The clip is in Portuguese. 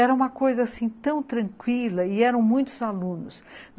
Era uma coisa tão tranquila, e eram muitos alunos.